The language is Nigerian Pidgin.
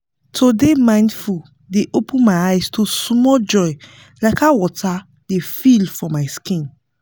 to dey mindful dey open my eye to small joy like how water dey feel for my skin